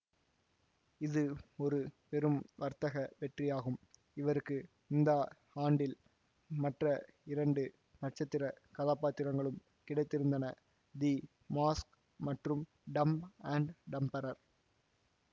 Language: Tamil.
இது ஒரு பெரும் வர்த்தக வெற்றியாகும் இவருக்கு இந்த ஆண்டில் மற்ற இரண்டு நட்சத்திர கதாபாத்திரங்களும் கிடைத்திருந்தன தி மாஸ்க் மற்றும் டம்ப் அண்ட் டம்பரர்